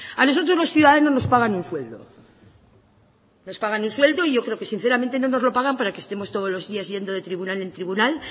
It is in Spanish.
a nosotros los ciudadanos nos pagan un sueldo nos pagan un sueldo y yo creo que sinceramente no nos lo pagan para que estemos todos los días de tribunal en tribunal